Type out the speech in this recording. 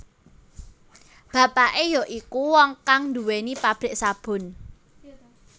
Bapake ya iku wong kang duwéni pabrik sabun